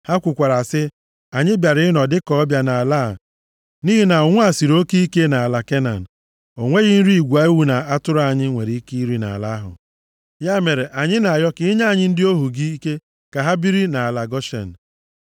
Ha kwukwara sị, “Anyị bịara ịnọ dịka ọbịa nʼala a nʼihi na ụnwụ a siri oke ike nʼala Kenan. O nweghị nri igwe ewu na atụrụ anyị nwere iri nʼala ahụ. Ya mere, anyị na-arịọ ka i nye ndị ohu gị ike ka ha biri nʼala Goshen.”